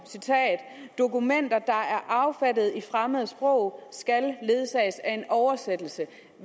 dokumenter er affattede i fremmede sprog skal ledsages af en oversættelse